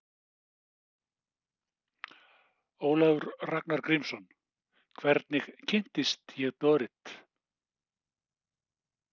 Ólafur Ragnar Grímsson: Hvernig kynntist ég Dorrit?